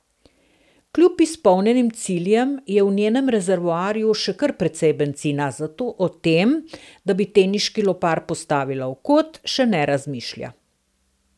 Kljub izpolnjenim ciljem je v njenem rezervoarju še kar precej bencina, zato o tem, da bi teniški lopar postavila v kot, še ne razmišlja.